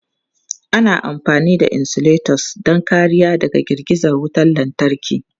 Ana amfani da insulators don kariya daga girgiza wutar lantarki.